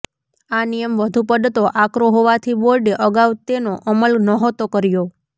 આ નિયમ વધુ પડતો આકરો હોવાથી બોર્ડે અગાઉ તેનો અમલ નહોતો કર્યો